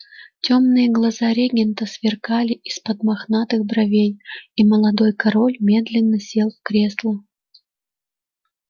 тёмные глаза регента сверкали из-под мохнатых бровей и молодой король медленно сел в кресло